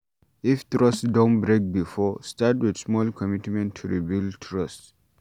If trust don break before, start with small commitment to rebuild trust